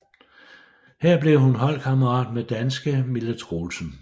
Her blev hun holdkammerat med danske Mille Troelsen